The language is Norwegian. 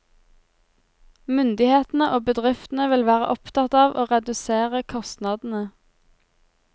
Myndighetene og bedriftene vil være opptatt av å redusere kostnadene.